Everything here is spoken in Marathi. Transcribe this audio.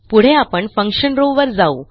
पुढे आपण फंक्शन रॉव वर जाऊ